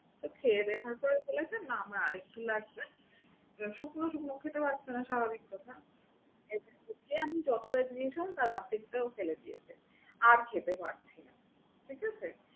তো খেয়ে দেয়ে শেষ করে বলছে না আমার আরেকটু লাগবে। শুকনো শুকনো খেতে পারছে না স্বাভাবিক কথা। এ আমি যতবারই দিয়েছিলাম তার অর্ধেকটা ও ফেলে দিয়েছে আর খেতে পারছে না, ঠিক আছে?